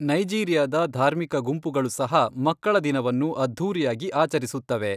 ನೈಜೀರಿಯಾದ ಧಾರ್ಮಿಕ ಗುಂಪುಗಳು ಸಹ ಮಕ್ಕಳ ದಿನವನ್ನು ಅದ್ಧೂರಿಯಾಗಿ ಆಚರಿಸುತ್ತವೆ.